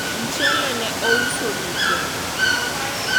mchele ne ous duto